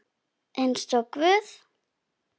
Eins og guð?